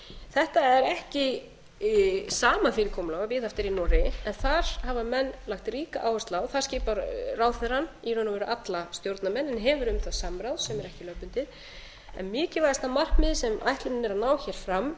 þetta er ekki sama fyrirkomulag og viðhaft er í noregi en þar hafa menn lagt ríka áherslu að þar skipar ráðherrann í raun og veru alla stjórnarmenn en hefur um það samráð sem er ekki lögbundið en mikilvægasta markmiðið sem ætlunin er að ná hér fram